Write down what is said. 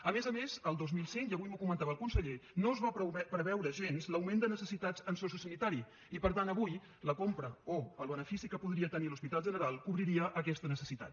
a més a més el dos mil cinc i avui m’ho comentava el conseller no es va preveure gens l’augment de necessitats en sociosanitari i per tant avui la compra o el benefici que podria tenir l’hospital general cobriria aquesta necessitat